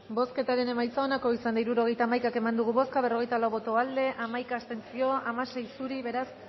bozketaren emaitza onako izan da hirurogeita hamaika eman dugu bozka berrogeita lau boto aldekoa hamaika abstentzio hamasei zuri beraz